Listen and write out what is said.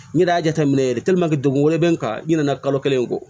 N yɛrɛ y'a jateminɛ yɛrɛ degun wɛrɛ bɛ n kan i ɲina na kalo kelen in kɔ